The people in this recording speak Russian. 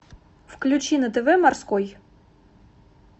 включи на тв морской